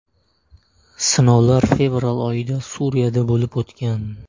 Sinovlar fevral oyida Suriyada bo‘lib o‘tgan.